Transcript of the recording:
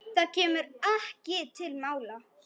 Það kemur ekki til mála.